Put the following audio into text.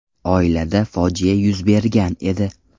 Oilada fojia yuz bergan edi.